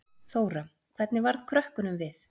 Þóra: Hvernig varð krökkunum við?